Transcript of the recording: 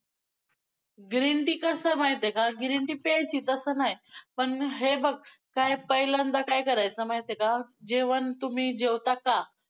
Green tea कसं माहितेय का? green tea प्यायचीच तसं नाही पण हे बघ काय, पहिल्यांदा काय करायचं माहितेय का? जेवण तुम्ही जेवता का?